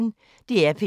DR P1